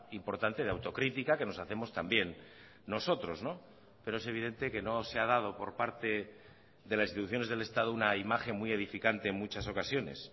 importante de autocrítica que nos hacemos también nosotros pero es evidente que no se ha dado por parte de las instituciones del estado una imagen muy edificante en muchas ocasiones